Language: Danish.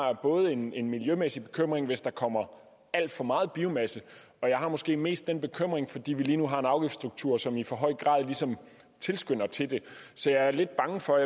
en en miljømæssig bekymring hvis der kommer alt for meget biomasse og jeg har måske mest den bekymring fordi vi lige nu har en afgiftsstruktur som i for høj grad ligesom tilskynder til det så jeg er lidt bange for